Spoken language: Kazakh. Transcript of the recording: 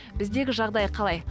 біздегі жағдай қалай